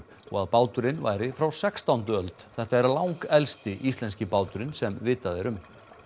og að báturinn væri frá sextándu öld þetta er langelsti íslenski báturinn sem vitað er um